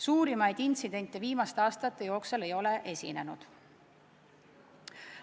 Suuremaid intsidente viimaste aastate jooksul ei ole esinenud.